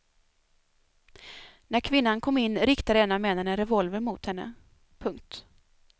När kvinnan kom in riktade en av männen en revolver mot henne. punkt